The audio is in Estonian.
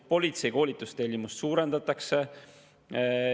Politsei koolitustellimust suurendatakse.